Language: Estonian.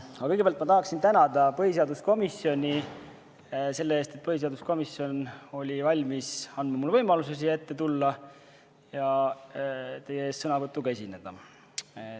Aga kõigepealt ma tahaksin tänada põhiseaduskomisjoni selle eest, et põhiseaduskomisjon oli valmis andma mulle võimaluse siia tulla ja teie ees sõnavõtuga esineda.